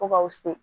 Fo k'aw se